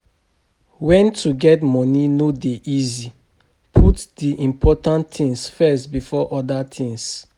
When to get money no dey easy put di important things first before oda things